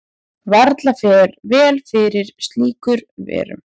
Varla fer vel fyrir slíkur verum.